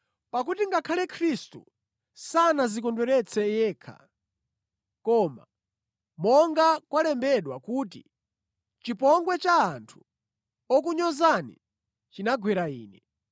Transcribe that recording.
Pakuti ngakhale Khristu sanadzikondweretsa yekha koma, monga kwalembedwa kuti, “Chipongwe cha anthu okunyozani chinagwera Ine.”